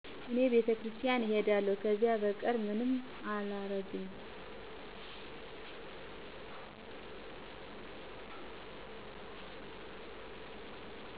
እኔ ቤተክርስቲያን እሄዳለሁ፣ ከዚያ በቀር ምንም አላረግም።